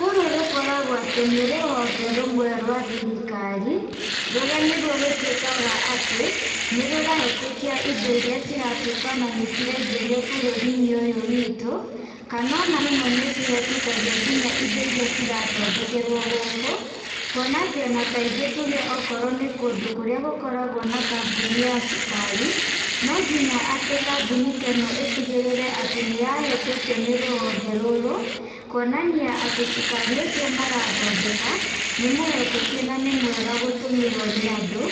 Rũrũ rũkoragwa atĩ nĩ rũhonge rũmwe rwa thirikari, rũrĩa nĩruo rũtwĩkaga atĩ, nĩrũrahĩtũkia indo iria ciratuĩka nĩciraingĩrwa bũrũrinĩ ũyũ witũ kana ona rĩmwe nĩcihĩtũkagia nginya indo iria cirathondekerwa gũkũ kwona atĩ ona kaingĩ tuge onawakorwo nĩ kũndũ kũrĩa gũkoragwa na kambuni ya cukari ,nonginya atĩ kambuni ta ĩno ĩtigĩrĩre atĩ nĩyahĩtũkio nĩ rũhonge rũrũ ,kwonania cukari ũcio marathondeka nĩmũhĩtũkie na nĩmwega wa gũtũmĩrwa nĩ andũ,